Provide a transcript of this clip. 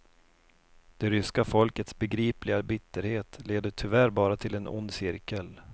Det ryska folkets begripliga bitterhet leder tyvärr bara till en ond cirkel.